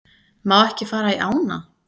Má ekki fara í ána